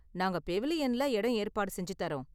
நாங்கள் பெவிலியன்ல இடம் ஏற்பாடு செஞ்சு தரோம்.